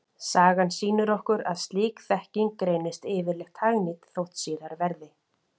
Sagan sýnir okkur að slík þekking reynist yfirleitt hagnýt þótt síðar verði.